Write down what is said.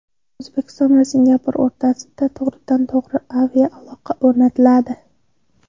O‘zbekiston va Singapur o‘rtasida to‘g‘ridan-to‘g‘ri aviaaloqa o‘rnatiladi.